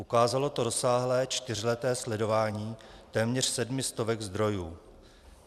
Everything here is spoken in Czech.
Ukázalo to rozsáhlé čtyřleté sledování téměř sedmi stovek zdrojů.